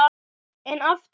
En aftur nei!